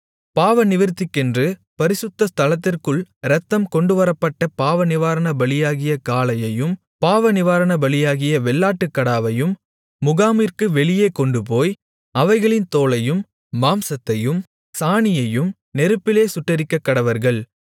பாவநிவிர்த்திக்கென்று பரிசுத்த ஸ்தலத்திற்குள் இரத்தம் கொண்டுவரப்பட்ட பாவநிவாரணபலியாகிய காளையையும் பாவநிவாரணபலியாகிய வெள்ளாட்டுக்கடாவையும் முகாமிற்கு வெளியே கொண்டுபோய் அவைகளின் தோலையும் மாம்சத்தையும் சாணியையும் நெருப்பிலே சுட்டெரிக்கக்கடவர்கள்